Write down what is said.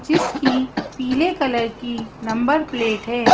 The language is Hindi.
जिसकी पीले कलर की नंबर प्लेट है।